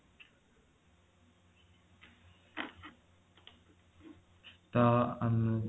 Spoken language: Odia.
ତ ଊଁ